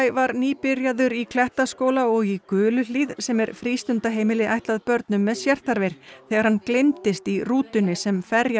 var nýbyrjaður í Klettaskóla og í sem er frístundaheimili ætlað börnum með sérþarfir þegar hann gleymdist í rútunni sem